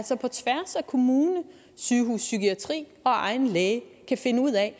kommune sygehuspsykiatri og egen læge kan finde ud af